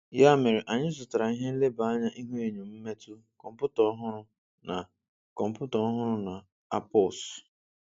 Ya mere, anyị zụtara ihe nleba anya ihuenyo mmetụ, kọmputa ọhụrụ na kọmputa ọhụrụ na ARPOS.